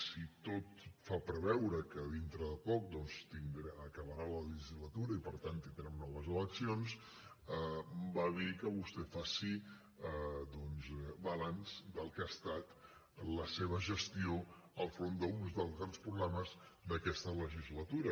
si tot fa preveure que dintre de poc doncs acabarà la legislatura i per tant tindrem noves eleccions va bé que vostè faci doncs balanç del que ha estat la seva gestió al capdavant d’un dels grans problemes d’aquesta legislatura